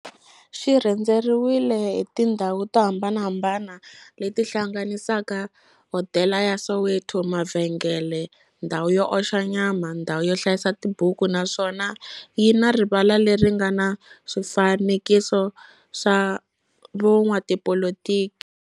Xi rhendzeriwile hi tindhawu to hambanahambana le ti hlanganisaka, hodela ya Soweto, mavhengele, ndhawu yo oxa nyama, ndhawu yo hlayisa tibuku, naswona yi na rivala le ri nga na swifanekiso swa vo n'watipolitiki.